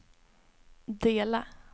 dela